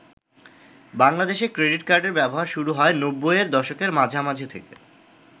বাংলাদেশে ক্রেডিট কার্ডের ব্যবহার শুরু হয় নব্বুই এর দশকের মাঝামাঝি থেকে।